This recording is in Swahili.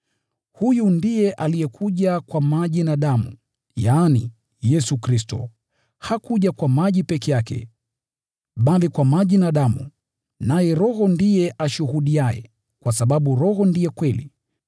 Huyu ndiye alikuja kwa maji na damu, yaani, Yesu Kristo. Hakuja kwa maji peke yake, bali kwa maji na damu. Naye Roho ndiye ashuhudiaye, kwa sababu Roho ndiye kweli.